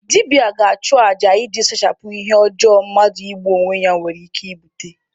Dibịa ga-achụ aja iji sachapụ ihe ọjọọ mmadụ igbu onwe ya nwere ike ibute.